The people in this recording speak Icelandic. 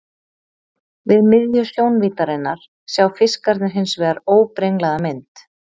Við miðju sjónvíddarinnar sjá fiskarnir hins vegar óbrenglaða mynd.